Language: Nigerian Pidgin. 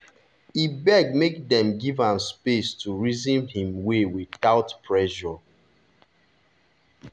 e beg make dem give am space to reason him way without pressure.